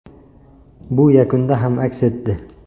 Bu yakunda ham aks etdi.